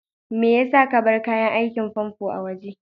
Maya sa ka bar kayan aikin famfo a waje?